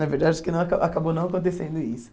Na verdade, acho que não a acabou não acontecendo isso.